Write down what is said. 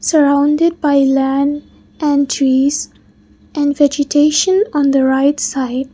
surrounded by land and trees and vegetation on the right side.